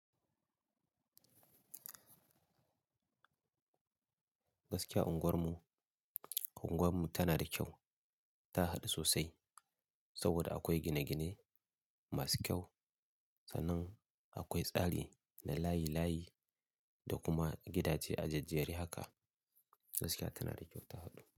Gaskiya unguwar mu, unguwar mu tana da kyau, ta haɗu sosai saboda akwai gine-gine masu kyau, sannan akwai tsari da layi-layi da kuma gidaje a jejjerri haka. Gaskiya tana da kyau ta haɗu.